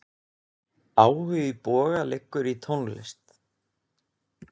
Áhugi Boga liggur í tónlist.